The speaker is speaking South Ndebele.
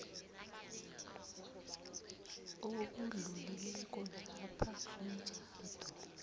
obudlulileko lapha umtjhado